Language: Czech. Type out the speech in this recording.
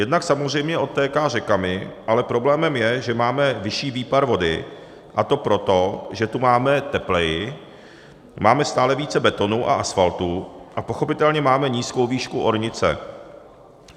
Jednak samozřejmě odtéká řekami, ale problémem je, že máme vyšší výpar vody, a to proto, že tu máme tepleji, máme stále více betonu a asfaltu a pochopitelně máme nízkou výšku ornice.